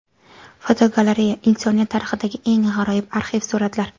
Fotogalereya: Insoniyat tarixidagi eng g‘aroyib arxiv suratlar.